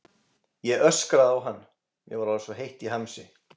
Ég öskraði á hann, mér var orðið svo heitt í hamsi.